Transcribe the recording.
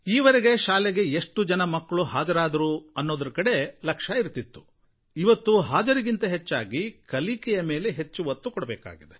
ಈ ವರೆಗೆ ಶಾಲೆಗೆ ಎಷ್ಟು ಜನ ಮಕ್ಕಳು ಹಾಜರಾದರು ಅನ್ನೋದರ ಕಡೆ ಲಕ್ಷ್ಯ ಇರ್ತಿತ್ತು ಇವತ್ತು ಹಾಜರಿಗಿಂತ ಹೆಚ್ಚಾಗಿ ಕಲಿಕೆಯ ಮೇಲೆ ಹೆಚ್ಚು ಒತ್ತು ಕೊಡಬೇಕಾಗಿದೆ